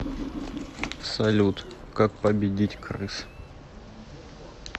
салют как победить крыс